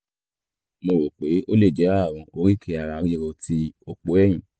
mo rò pé ó lè jẹ́ ààrùn oríkèé-ara-ríro ti òpó ẹ̀yìn